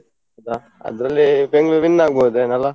ಹೌದಾ, ಅದ್ರಲ್ಲಿ Bengaluru win ಆಗಬೋದೇನಾ ಅಲ್ಲ?